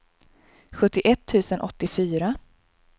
sjuttioett tusen åttiofyra